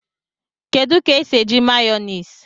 Kedu ka esi eji Mayonezi